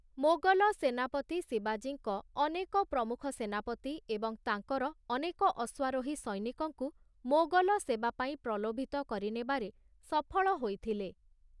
ମୋଗଲ ସେନାପତି ଶିବାଜୀଙ୍କ ଅନେକ ପ୍ରମୁଖ ସେନାପତି ଏବଂ ତାଙ୍କର ଅନେକ ଅଶ୍ୱାରୋହୀ ସୈନିକଙ୍କୁ ମୋଗଲ ସେବାପାଇଁ ପ୍ରଲୋଭିତ କରିନେବାରେ ସଫଳ ହୋଇଥିଲେ ।